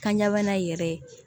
Kanɲabana yɛrɛ